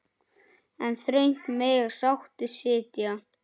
En þröngt mega sáttir sitja.